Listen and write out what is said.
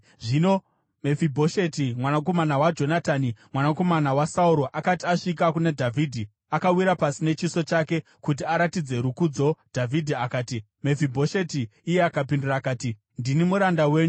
Zvino Mefibhosheti mwanakomana waJonatani, mwanakomana waSauro akati asvika kuna Dhavhidhi, akawira pasi nechiso chake kuti aratidze rukudzo. Dhavhidhi akati, “Mefibhosheti!” Iye akapindura akati, “Ndini muranda wenyu.”